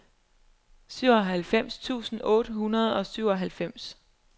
syvoghalvfems tusind otte hundrede og syvoghalvfems